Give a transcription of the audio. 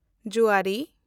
ᱡᱩᱣᱟᱨᱤ